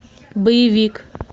боевик